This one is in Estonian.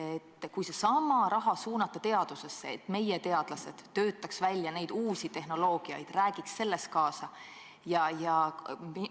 Aga kui seesama raha suunata teadusesse, et meie teadlased töötaksid välja neid uusi tehnoloogiaid, räägiks selles kaasa?